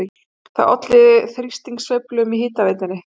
Það olli þrýstingssveiflum í hitaveitunni